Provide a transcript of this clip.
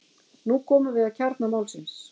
Nú komum við að kjarna málsins.